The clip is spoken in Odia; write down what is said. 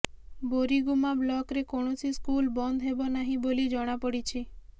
ବୋରିଗୁମ୍ମା ବ୍ଲକରେ କୈାଣସି ସ୍କୁଲ ବନ୍ଦ ହେବା ନାହିଁ ବୋଲି ଜଣାପଡିଛି